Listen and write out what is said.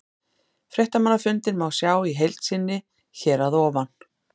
Fréttamannafundinn má sjá í heild sinni hér að ofan.